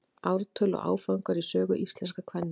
ártöl og áfangar í sögu íslenskra kvenna